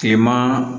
Kileman